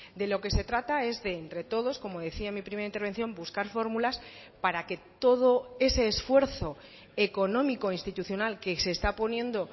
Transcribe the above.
de lo que se trata es de entre todos como decía en mi primera intervención buscar fórmulas para que todo ese esfuerzo económico institucional que se está poniendo